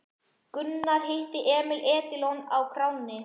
Gunnar hitti Emil Edilon á kránni.